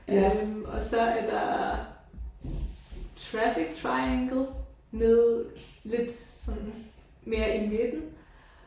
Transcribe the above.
Øh og så er der traffic triangle nede lidt sådan mere i midten